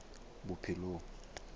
bophelong